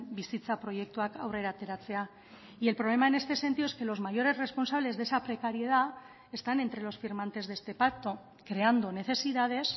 bizitza proiektuak aurrera ateratzea y el problema en este sentido es que los mayores responsables de esa precariedad están entre los firmantes de este pacto creando necesidades